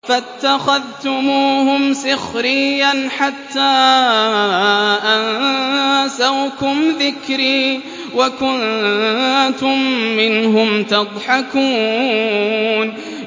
فَاتَّخَذْتُمُوهُمْ سِخْرِيًّا حَتَّىٰ أَنسَوْكُمْ ذِكْرِي وَكُنتُم مِّنْهُمْ تَضْحَكُونَ